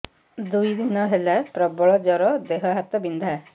ଦୁଇ ଦିନ ହେଲା ପ୍ରବଳ ଜର ଦେହ ହାତ ବିନ୍ଧା